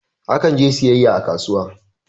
Akan je siyayya a kasuwa